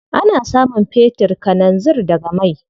Ana samun fetir, kalanzir daga mai.